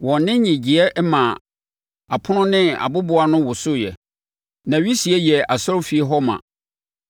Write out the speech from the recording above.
Wɔn nne nnyegyeeɛ maa apono ne aboboano wosooɛ, na wisie yɛɛ asɔrefie hɔ ma.